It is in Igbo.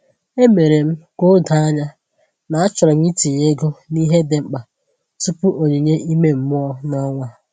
E mere m ka o doo anya na achọrọ m itinye ego n’ihe dị mkpa tupu onyinye ime mmụọ n’ọnwa a.